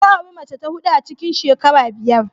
Ya auri mace ta huɗu a cikin shekara biyar.